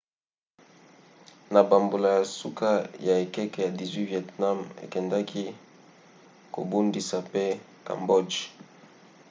na bambula ya suka ya ekeke ya 18 vietnam ekendaki kobundisa mpe cambodge